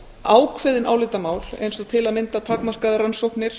ákveðin álitamál eins og til að mynda takmarkaðar rannsóknir